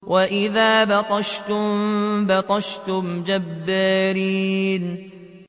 وَإِذَا بَطَشْتُم بَطَشْتُمْ جَبَّارِينَ